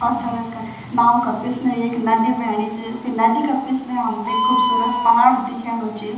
पाथर का नाओ का पिछणे एक नदी भैणी च फिर नदी का पिछणा हमै एक खुबसूरत पहाड़ दिख्यानु च।